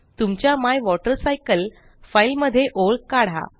तुमच्या my water cycle file मध्ये ओळ काढा